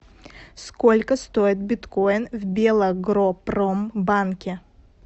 сколько стоит биткоин в белагропромбанке